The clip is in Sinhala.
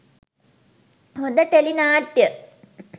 හොඳ ටෙලි නාට්‍ය